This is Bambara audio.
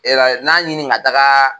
E la ye n'a ɲini ka taga